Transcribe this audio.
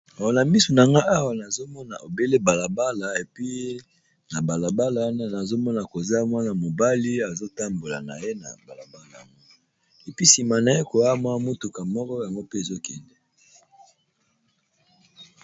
Namisu na nga awa nazomona ebele balabala, epi na balabala wana nazomona koza mwana mobali azotambola na ye na balabal yango, episima na ye koyamwa mutuka moko yango mpe ezokende.